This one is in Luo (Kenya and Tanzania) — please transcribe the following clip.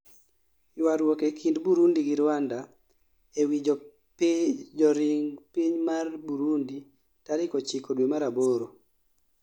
Ywaruok ee kind Burundi gi Rwanda ee wii joring piny mar Burundi tarik 9 Due mar aboro